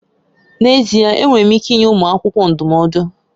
N'ezie! Enwere m ike nye ụmụ akwụkwọ ndụmọdụ.